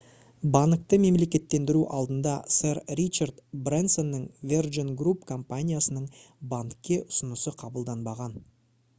банкты мемлекеттендіру алдында сэр ричард брэнсонның virgin group компаниясының банкке ұсынысы қабылданбаған